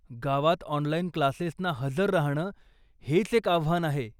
गावात ऑनलाइन क्लासेसना हजर राहणं हेच एक आव्हान आहे.